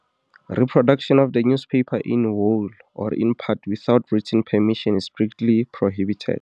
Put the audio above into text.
Reproduction of the newspaper in whole or in part without written permission is strictly prohibited.